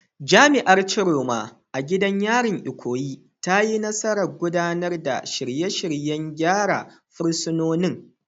Jami’ar Chioma, a gidan yarin Ikoyi, ta yi nasarar gudanar da shirye-shiryen gyara fursunonin.